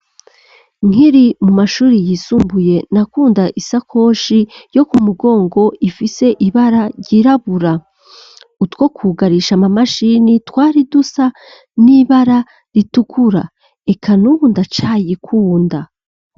Nkiri mu mashuri yisumbuye na kunda isakoshi yo ku mugongo ifise ibara ryirabura utwo kwugarisha amamashini twari dusa n'ibara ritukura eka n'ubu ndacayikunda.